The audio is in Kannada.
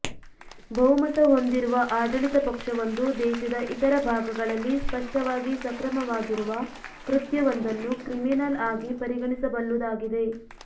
ಬಹುಮತ ಹೊಂದಿರುವ ಆಡಳಿತ ಪಕ್ಷವೊಂದು ದೇಶದ ಇತರ ಭಾಗಗಳಲ್ಲಿ ಸ್ಪಷ್ಟವಾಗಿ ಸಕ್ರಮವಾಗಿರುವ ಕೃತ್ಯವೊಂದನ್ನು ಕ್ರಿಮಿನಲ್ ಆಗಿ ಪರಿಗಣಿಸಬಲ್ಲುದಾಗಿದೆ